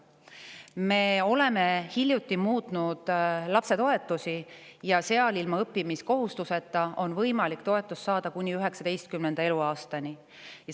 Me muutsime hiljuti lapsetoetusi ja nüüd on võimalik toetust saada ilma õppimiskohustuseta kuni 19. eluaastani.